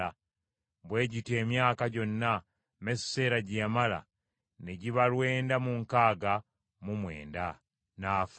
Bwe gityo emyaka gyonna Mesuseera gye yamala ne giba lwenda mu nkaaga mu mwenda; n’afa.